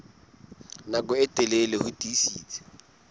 nako e telele ho tiisitse